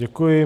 Děkuji.